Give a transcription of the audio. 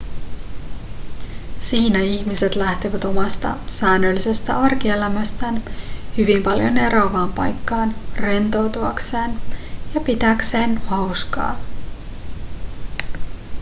siinä ihmiset lähtevät omasta säännöllisestä arkielämästään hyvin paljon eroavaan paikkaan rentoutuakseen ja pitääkseen hauskaa